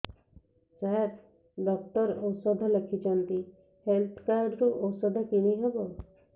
ସାର doctor ଔଷଧ ଲେଖିଛନ୍ତି health card ରୁ ଔଷଧ କିଣି ହେବ